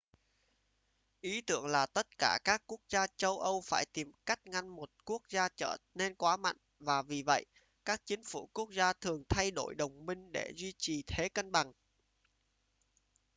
ý tưởng là tất cả các quốc gia châu âu phải tìm cách ngăn một quốc gia trở nên quá mạnh và vì vậy các chính phủ quốc gia thường thay đổi đồng minh để duy trì thế cân bằng